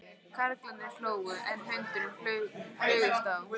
Karlarnir hlógu, en hundarnir flugust á.